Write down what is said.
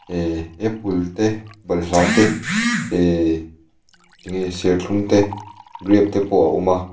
ee apple te balhla te ehh enge serthlum te grape te pawh a awm a.